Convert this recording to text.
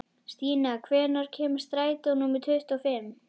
Stína, hvenær kemur strætó númer tuttugu og fimm?